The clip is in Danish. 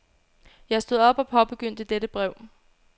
Jeg stod op og påbegyndte dette brev.